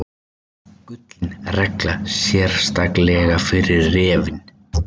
Gullin regla, sérstaklega fyrir refinn.